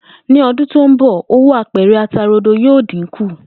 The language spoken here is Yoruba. Ní o̩dún tó ń bò̩, owó apè̩rè̩ ata rodo yóò dínkù